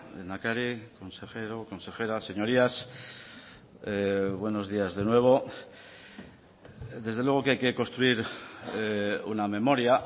lehendakari consejero consejera señorías buenos días de nuevo desde luego que hay que construir una memoria